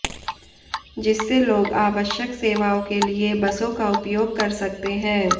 जिससे लोग आवश्यक सेवाओं के लिए बसों का उपयोग कर सकते है